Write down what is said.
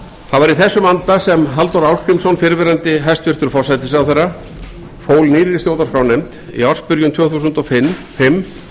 í þessum anda sem halldór ásgrímsson fyrrverandi hæstvirtur forsætisráðherra fól nýrri stjórnarskrárnefnd í ársbyrjun tvö þúsund og fimm